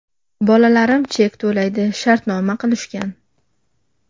Bolalarim chek to‘laydi, shartnoma qilishgan.